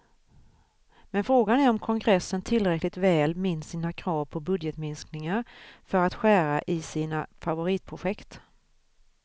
Men frågan är om kongressen tillräckligt väl minns sina krav på budgetminskningar för att skära i sina favoritprojekt.